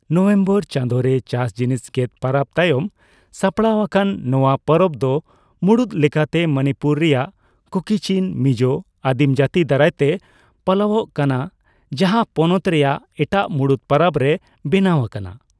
November ᱪᱟᱸᱫᱳ ᱨᱮ ᱪᱟᱥ ᱡᱤᱱᱤᱥ ᱜᱮᱫ ᱯᱚᱨᱚᱵ ᱛᱟᱭᱚᱢ ᱥᱟᱯᱲᱟᱣ ᱟᱠᱟᱱ ᱱᱚᱣᱟ ᱯᱚᱨᱚᱵ ᱫᱚ ᱢᱩᱲᱩᱫ ᱞᱮᱠᱟᱛᱮ ᱢᱚᱱᱤᱯᱩᱨ ᱨᱮᱭᱟᱜ ᱠᱩᱠᱤᱼᱪᱤᱱᱼᱢᱤᱡᱳ ᱟᱹᱫᱤᱢᱡᱟᱹ ᱛᱤ ᱫᱟᱨᱟᱭ ᱛᱮ ᱯᱟᱞᱟᱣᱚᱜ ᱠᱟᱱᱟ, ᱡᱟᱦᱟᱸ ᱯᱚᱱᱚᱛ ᱨᱮᱭᱟᱜ ᱮᱴᱟᱜ ᱢᱩᱲᱩᱫ ᱯᱚᱨᱚᱵ ᱨᱮ ᱵᱮᱱᱟᱣ ᱟᱠᱟᱱᱟ ᱾